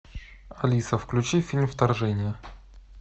алиса включи фильм вторжение